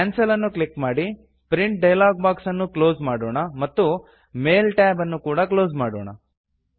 cancel ಅನ್ನು click ಮಾಡಿ print dialog box ಅನ್ನು ಕ್ಲೋಸ್ ಮಾಡೋಣ ಮತ್ತು ಮೇಲ್ ಟ್ಯಾಬ್ ಅನ್ನು ಕೂಡ ಕ್ಲೋಸ್ ಮಾಡೋಣ